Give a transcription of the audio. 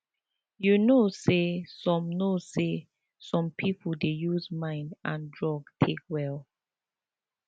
you know say some know say some people dey use mind and drugs take well